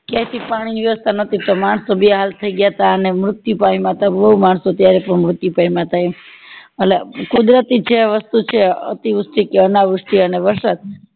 ક્યાયથી પાણી વ્યવસ્થા નોતી તો માણસ બે હાલ થય ગયા હતા ને મૃત્યુ પામ્યા હતા બૌ માણસો ત્યારે મૃત્યુ પામ્યા હતા એ અટલે કુદરતી જે વસ્તુ છે અતિવૃષ્ટિ કે અનાવૃષ્ટિ અને વરસાદ